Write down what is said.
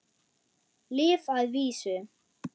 Lyf að vísu.